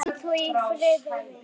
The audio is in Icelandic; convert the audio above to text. Hvíl þú í friði, vinur.